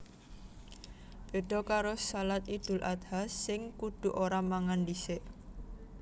Béda karo shalat Idul Adha sing kudu ora mangan dhisik